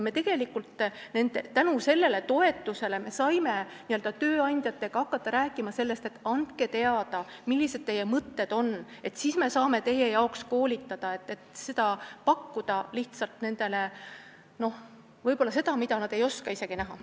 Me saime tänu sellele toetusele hakata tööandjatega rääkima sellest, et nad annaksid teada, millised mõtted neil on, sest siis me saame nende jaoks inimesi koolitada ja pakkuda nendele võib-olla seda, mida nad ei oska isegi ette näha.